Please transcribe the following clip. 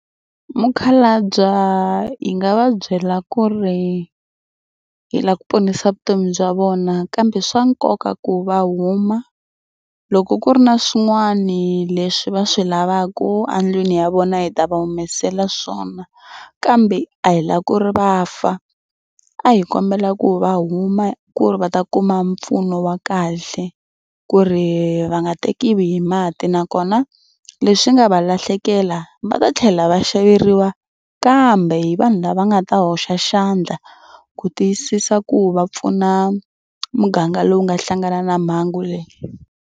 Mukhalabye hi nga va byela ku ri hi lava ku ponisa vutomi bya vona kambe swa nkoka ku va huma loko ku ri na swin'wani leswi va swi lavaka endlwini ya vona hi ta va humesela swona kambe a hi lava ku ri va fa. A hi kombela ku va huma ku ri va ta kuma mpfuno wa kahle ku ri va nga tekiwi hi mati nakona leswi nga va lahlekela va ta tlhela va xaveriwa kambe hi vanhu lava nga ta hoxa xandla ku tiyisisa ku va pfuna muganga lowu nga hlangana na mhangu leyi.